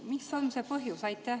Mis on see põhjus?